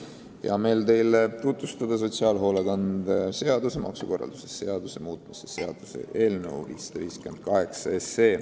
Mul on hea meel teile tutvustada sotsiaalhoolekande seaduse ja maksukorralduse seaduse muutmise seaduse eelnõu 558.